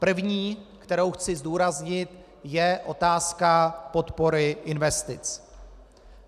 První, kterou chci zdůraznit, je otázka podpory investic.